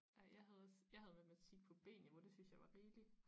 Ej jeg havde også jeg havde matematik på B-niveau det synes jeg var rigelig